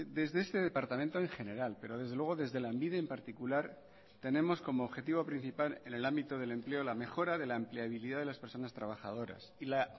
desde este departamento en general pero desde luego desde lanbide en particular tenemos como objetivo principal en el ámbito del empleo la mejora de la empleabilidad de las personas trabajadoras y la